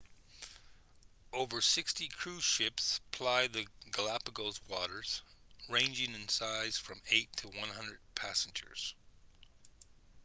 over 60 cruise ships ply the galapagos waters ranging in size from 8 to 100 passengers